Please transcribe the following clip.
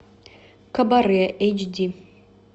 кабаре эйч ди